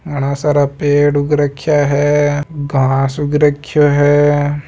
घणा सारा पेड़ उग राख्या है घास उग रख्यो है।